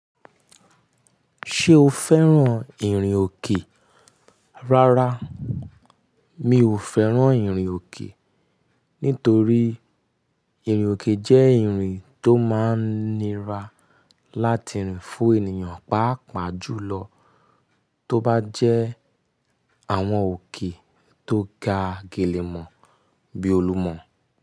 Ṣé o fẹ́ràn ìrìn òkè? Rárá, mi ò fẹ́ràn ìrìn òkè, nítorí ìrìn òkè jẹ́ ìrìn tó máa ń nira láti rìn fún ènìyàn, pàápàá jùlọ tó bá jẹ́ àwọn òkè tó ga gèlè mọ́ bí Olúmọ.